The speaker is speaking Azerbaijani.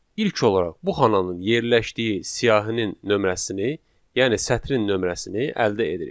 İlk olaraq bu xananın yerləşdiyi siyahının nömrəsini, yəni sətrin nömrəsini əldə edirik.